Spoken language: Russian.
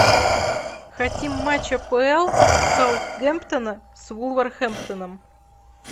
хотим матч апл саутгемптона с вулверхэмптоном